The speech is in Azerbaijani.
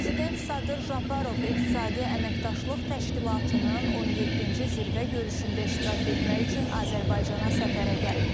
Prezident Sadır Japarov İqtisadi Əməkdaşlıq Təşkilatının 17-ci Zirvə görüşündə iştirak etmək üçün Azərbaycana səfərə gəlib.